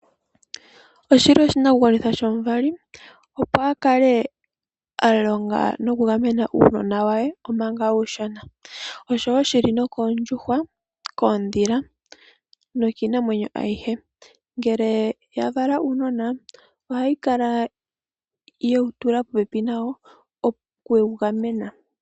Oshili oshinakugwanitha shomuvali opo akale alonga nokugamena uunona waye omanga uushona. Osho wo oshili nookondjuhwa, koondhila nokiinamwenyo ayihe. Ngele yavala uunona ohayikala ye wu tula popepi nayo opo yavule okuugamena.